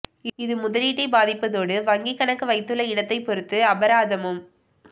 இது முதலீட்டைப் பாதிப்பதோடு வங்கிக் கணக்கு வைத்துள்ள இடத்தைப் பொருத்து அபராதமும்